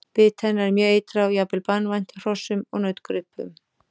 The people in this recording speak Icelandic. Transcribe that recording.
Bit hennar er mjög eitrað og jafnvel banvænt hrossum og nautgripum.